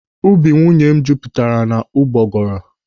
Ubi nwunye m jupụtara n'ụgbọgọrọ.